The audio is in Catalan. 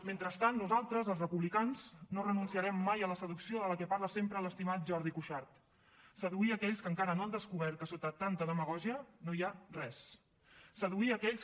mentrestant nosaltres els republicans no renunciarem mai a la seducció de la que parla sempre l’estimat jordi cuixart seduir aquells que encara no han descobert que sota tanta demagògia no hi ha res